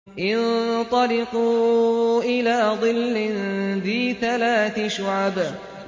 انطَلِقُوا إِلَىٰ ظِلٍّ ذِي ثَلَاثِ شُعَبٍ